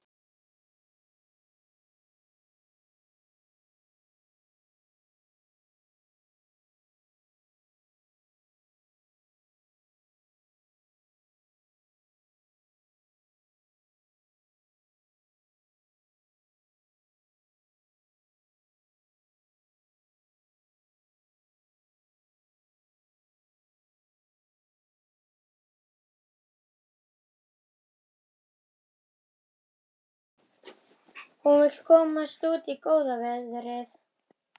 Hún vill komast út í góða veðrið.